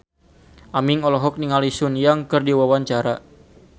Aming olohok ningali Sun Yang keur diwawancara